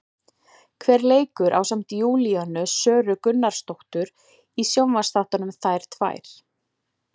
Hver leikur ásamt Júlíönu Söru Gunnarsdóttir í sjónvarpsþáttunum, Þær tvær?